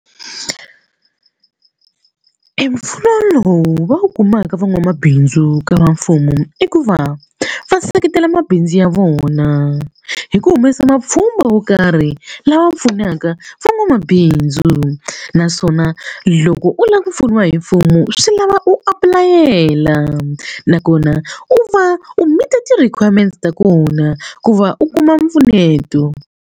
E mpfuno lowu va wu kumaka van'wamabindzu ka mfumo i ku va va seketela mabindzu ya vona hi ku humesa mapfhumba wo karhi lawa pfunaka van'wamabindzu naswona loko u lava ku pfuniwa hi mfumo swi lava u apulayela nakona u va u meet-a ti-requirement ta kona ku va u kuma mpfuneto.